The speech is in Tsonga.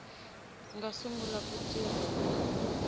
nga sungula ku tirha hi